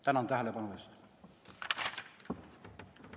Tänan tähelepanu eest!